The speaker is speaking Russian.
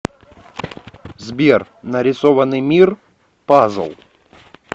сбер нарисованный мир пазл